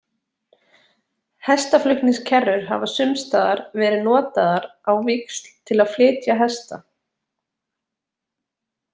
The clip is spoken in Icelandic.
Hestaflutningskerrur hafa sums staðar verið notaðar á víxl til að flytja hesta.